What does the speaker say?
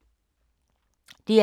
DR K